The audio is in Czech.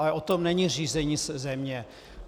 Ale o tom není řízení země.